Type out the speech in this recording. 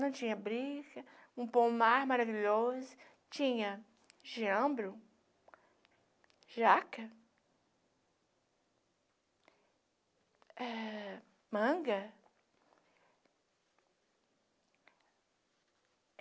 Não tinha briga, um pomar maravilhoso, tinha geâmbro, jaca, eh manga.